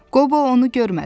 Qobo onu görmədi.